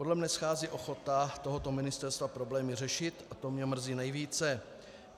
Podle mne schází ochota tohoto ministerstva problémy řešit a to mě mrzí nejvíce.